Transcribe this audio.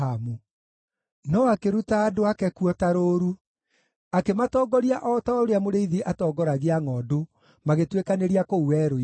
No akĩruta andũ ake kuo ta rũũru; akĩmatongoria o ta ũrĩa mũrĩithi atongoragia ngʼondu magĩtuĩkanĩria kũu werũ-inĩ.